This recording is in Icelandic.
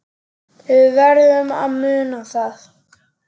Við verðum að muna það.